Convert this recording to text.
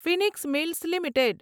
Phoenix Mills limited